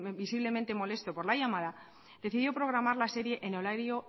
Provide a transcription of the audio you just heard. visiblemente molesto por la llamada decidió programar la serie en horario